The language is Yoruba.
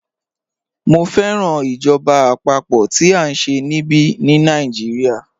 Mọ̀ fẹ́ràn ìjọba apapo tí a nṣẹ̀ níbí ní Nàìjíríà